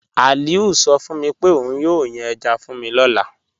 Aliu sọ fun mi pe ọun yóò yàn èjá fun mi lọ́lá.